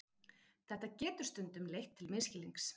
Þetta getur stundum leitt til misskilnings.